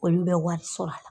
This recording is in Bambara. Kɔni bɛ wari sɔrɔ a la.